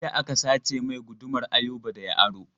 Jiya aka sace mai gudumar Ayuba da ya aro.